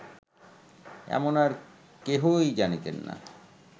এমন আর কেহই জানিতেন না